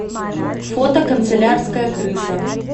фото канцелярская крыса